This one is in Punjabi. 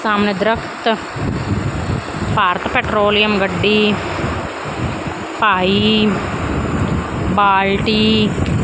ਸਾਹਮਣੇ ਦ੍ਰਖਤ ਭਾਰਤ ਪੇਟ੍ਰੋਲਿਯਮ ਗੱਡੀ ਭਾਈ ਬਾਲਟੀ--